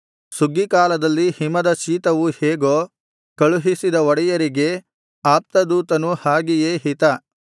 ಸುಗ್ಗೀಕಾಲದಲ್ಲಿ ಹಿಮದ ಶೀತವು ಹೇಗೋ ಕಳುಹಿಸಿದ ಒಡೆಯರಿಗೆ ಆಪ್ತದೂತನು ಹಾಗೆಯೇ ಹಿತ